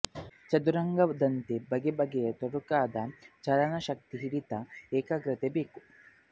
ಚದುರಂಗದಂತೆ ಬಗೆ ಬಗೆ ತೊಡಕಾದ ಚಾಲನ ಶಕ್ತಿ ಹಿಡಿತ ಏಕಾಗ್ರತೆ ಬೇಕು